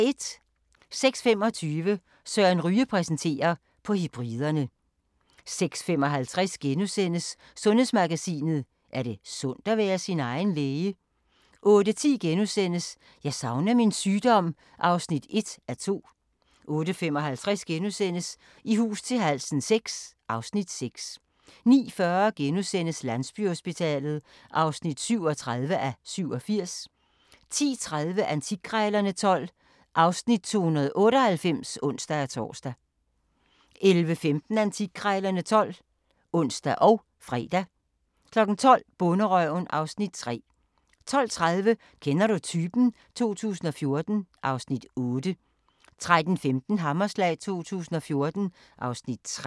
06:25: Søren Ryge præsenterer: På Hebriderne 06:55: Sundhedsmagasinet: Er det sundt at være sin egen læge? * 08:10: Jeg savner min sygdom (1:2)* 08:55: I hus til halsen VI (Afs. 6)* 09:40: Landsbyhospitalet (37:87)* 10:30: Antikkrejlerne XII (Afs. 298)(ons-tor) 11:15: Antikkrejlerne XII (ons og fre) 12:00: Bonderøven (Afs. 3) 12:30: Kender du typen? 2014 (Afs. 8) 13:15: Hammerslag 2014 (Afs. 3)